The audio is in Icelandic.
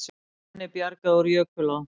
Manni bjargað úr jökulá